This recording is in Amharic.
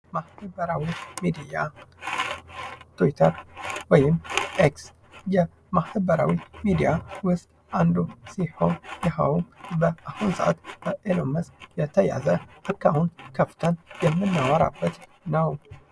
ማህበራዊ ሚዲያ ትዊተር ወይም ኤክስ ከማህበራዊ ሚዲያ ውስጥ አንዱ ሲሆን ይህም በአሁኑ ሰዓት በኤለን መስክ የተያዘ ከፍተን የምናወራበት ነው።